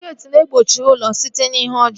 Geeti na-egbochi ụlọ site n'ihe ọjọọ